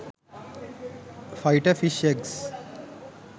fighter fish eggs